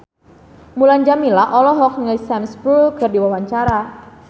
Mulan Jameela olohok ningali Sam Spruell keur diwawancara